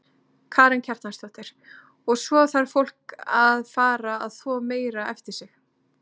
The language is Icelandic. Karen Kjartansdóttir: Og svo þarf fólk að fara að þvo meira eftir sig?